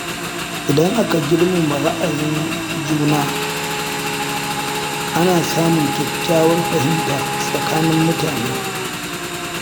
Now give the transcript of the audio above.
Idan aka girmama ra'ayin juna, ana samun kyakkyawar fahimta tsakanin mutane.